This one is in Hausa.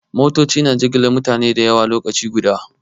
Motoci na jigilar mutane da yawa lokaci guda.